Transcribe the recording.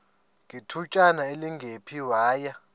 ngethutyana elingephi waya